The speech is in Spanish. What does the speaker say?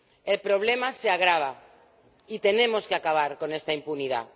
El problema se agrava y tenemos que acabar con esta impunidad.